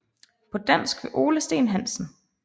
På dansk ved Ole Steen Hansen